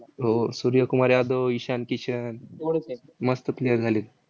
हो. सूर्य कुमार यादव, ईशान किशन मस्त player झालेत.